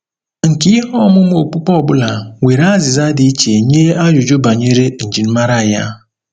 Nkà ihe ọmụma okpukpe ọ bụla nwere azịza dị iche nye ajụjụ banyere njirimara ya.